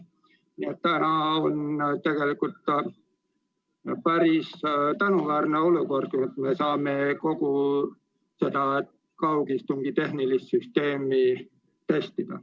Nii et täna on tegelikult päris tänuväärne olukord, kus me saame kogu kaugistungi tehnilist süsteemi testida.